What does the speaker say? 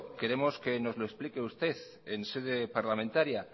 queremos que nos lo explique usted en sede parlamentaria